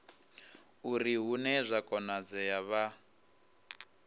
uri hune zwa konadzea vha